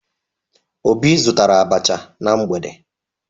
Obi zụtara abacha na mgbede